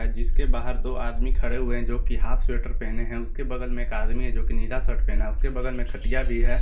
जिसके बाहर दो आदमी खड़े हुए हैं जो की हाफ स्वेटर पहने हैं उसके बगल में एक आदमी है जो कि नीला शर्ट पहना उसके बगल में खटिया भी है।